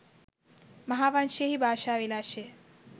මහාවංශයෙහි භාෂා විලාශය